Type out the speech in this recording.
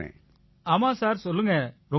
ஆமாம் சார் சொல்லுங்க ரொம்ப ரொம்ப நன்றி